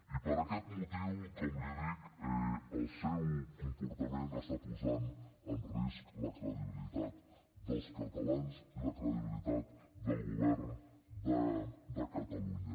i per aquest motiu com li dic el seu comportament posa en risc la credibilitat dels catalans i la credibilitat del govern de catalunya